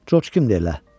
Corc kimdir elə?